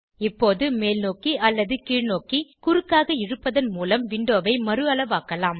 இப்போது மேல்நோக்கி அல்லது கீழ்நோக்கி குறுக்காக இழுப்பதன் மூலம் விண்டோவை மறுஅளவாக்கவும்